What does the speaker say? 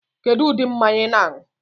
Kedu ụdị mmanya I na-anu?